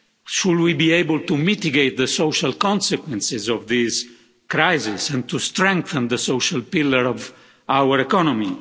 Should we be able to mitigate the social consequences of this crisis, and to strengthen the social pillar of our economy?